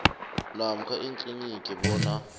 namkha ikliniki bona